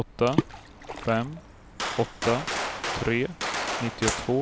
åtta fem åtta tre nittiotvå